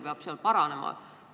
Mis asi seal paranema peab?